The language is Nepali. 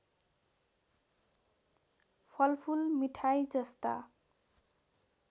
फलफुल मिठाई जस्ता